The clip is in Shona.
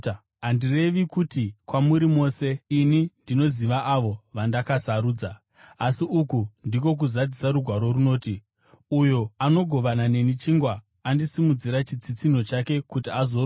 “Handirevi izvi kwamuri mose; ini ndinoziva avo vandakasarudza. Asi uku ndiko kuzadzisa Rugwaro runoti, ‘Uyo anogovana neni chingwa andisimudzira chitsitsinho chake kuti azorwa neni.’